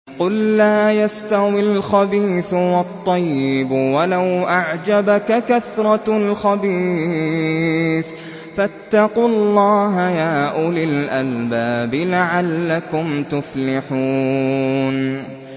قُل لَّا يَسْتَوِي الْخَبِيثُ وَالطَّيِّبُ وَلَوْ أَعْجَبَكَ كَثْرَةُ الْخَبِيثِ ۚ فَاتَّقُوا اللَّهَ يَا أُولِي الْأَلْبَابِ لَعَلَّكُمْ تُفْلِحُونَ